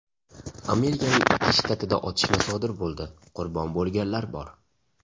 Amerikaning ikki shtatida otishma sodir bo‘ldi, qurbon bo‘lganlar bor.